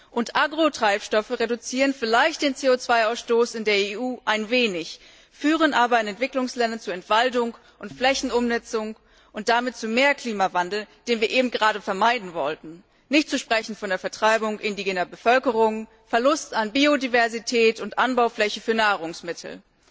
Und Agrotreibstoffe reduzieren vielleicht den CO 2 Ausstoß in der EU ein wenig, führen aber in den Entwicklungsländern zu Entwaldung und Flächenumnutzung und damit zu mehr Klimawandel, den wir eben gerade vermeiden wollten, nicht zu sprechen von der Vertreibung indigener Bevölkerung und dem Verlust an Biodiversität und Anbaufläche für Nahrungsmittel.